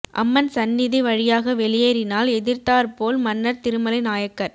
அம்மன் சன்னிதி வழியாக வெளியேறினால் எதிர்த்தாற் போல் மன்னர் திருமலை நாயக்கர்